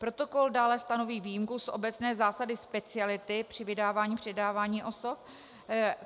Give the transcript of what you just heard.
Protokol dále stanoví výjimku z obecné zásady speciality při vydávání, předávání osob.